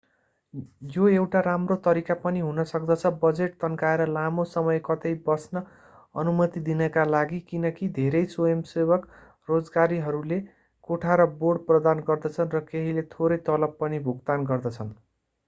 यो एउटा राम्रो तरिका पनि हुन सक्दछ बजेट तन्काएर लामो समय कतै बस्न अनुमति दिनका लागि किनकि धेरै स्वयंसेवक रोजगारीहरूले कोठा र बोर्ड प्रदान गर्दछन् र केहीले थोरै तलब पनि भुक्तान गर्दछन्